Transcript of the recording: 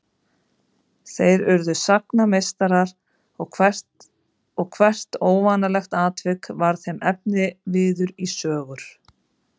Þeir urðu sagnameistarar og hvert óvanalegt atvik varð þeim efniviður í sögur.